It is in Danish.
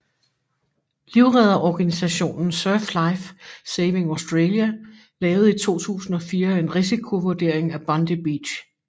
Livredderorganisationen Surf Life Saving Australia lavede i 2004 en risikovurdering af Bondi Beach